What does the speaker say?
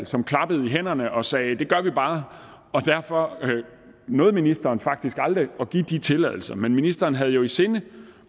som klappede i hænderne og sagde det gør vi bare derfor nåede ministeren faktisk aldrig at give de tilladelser men ministeren havde jo i sinde